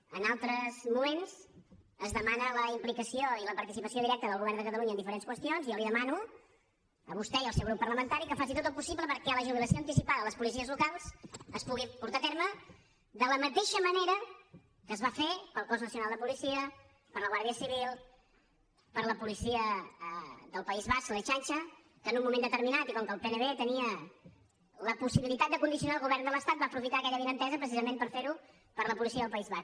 en altres moments es demana la implicació i la participació directa del govern de catalunya en diferents qüestions i jo li demano a vostè i al seu grup parlamentari que faci tot el possible perquè la jubilació anticipada de les policies locals es pugui portar a terme de la mateixa manera que es va fer per al cos nacional de policia per a la guàrdia civil per a la policia del país basc l’ertzaintza que en un moment determinat i com que el pnb tenia la possibilitat de condicionar el govern de l’estat va aprofitar aquella avinentesa precisament per fer ho per a la policia del país basc